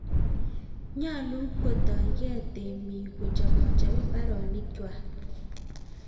Wakulima wanafaa kuanza na kutayarisha shamba zao